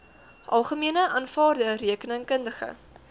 algemene aanvaarde rekeningkundige